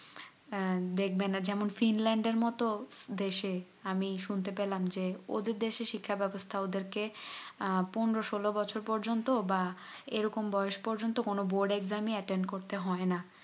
আহ দেখবে না যেমন ফিনল্যান্ড এর মতো দেশে আমি শুনতে পেলাম যে ওদের দেশ এর শিক্ষা ব্যবস্থা ওদের কে আহ পনেরো সোলো বছর পর্যন্ত বা এরকম বয়স পর্যন্ত কোনো board exam ই attend হয়না